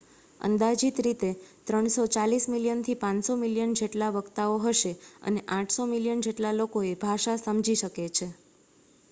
અંદાજિત રીતે 340 મિલિયનથી 500 મિલિયન જેટલા વક્તાઓ હશે અને 800 મિલિયન જેટલા લોકો એ ભાષા સમજી શકે છે